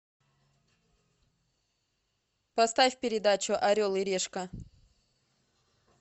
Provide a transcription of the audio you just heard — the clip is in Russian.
поставь передачу орел и решка